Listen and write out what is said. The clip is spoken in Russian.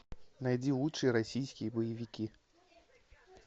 найди лучшие российские боевики